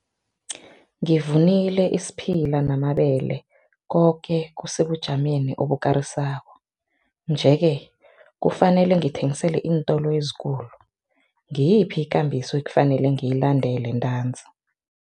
Ngivunile isiphila namabele koke kusebujameni obukarisako nje-ke, kufanele ngithengisele iintolo ezikulu, ngiyiphi ikambiso ekufanele ngiyilandele ntanzi?